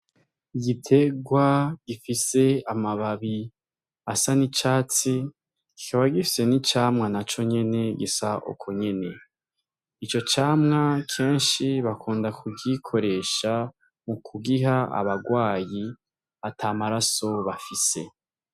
Igiterwa gifise ama babi asa n'icatsi kikaba gifise n'icamwa naconyene gisa ukonyene ico camwa keshi bakunda ku gikoresha mu kugiha abarwayi atamaraso bafise.